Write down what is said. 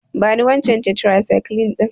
Bani wancan tetracycline ɗin.